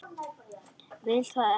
Vil það ekki.